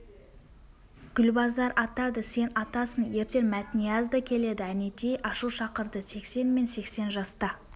гүлбазар атады сен атасың ертең мәтнияз да келеді әнетей ашу шақырды сексен мен сексен жаста